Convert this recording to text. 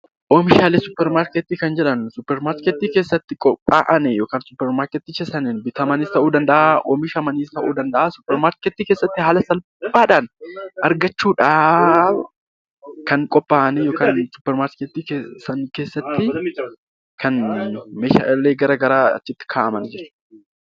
Oomishaalee suupparmaarkeetii kan jedhamu suupparmaarkeetii keessatti qophaa'anii yookiin suupparmaarkeetichaan bitamaniis ta'uu danda'a haala salphaadhaan argachuudhaaf kan qophaa'an suupparmaarkeetii sana keessatti kan meeshaaleen adda addaa achitti kaa'aman jechuudha.